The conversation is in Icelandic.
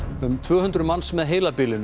um tvö hundruð manns með heilabilun eru